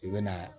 I bɛ na